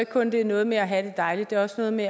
kun det er noget med at have det dejligt det er også noget med